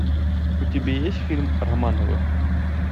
у тебя есть фильм романовы